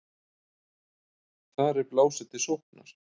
Þar er blásið til sóknar.